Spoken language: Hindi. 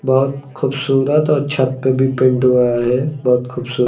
बहुत खूबसूरत और छत पे भी पेंट हुआ है बहुत खूबसूरत।